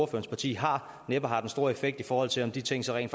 parti har næppe har den store effekt i forhold til om de ting så rent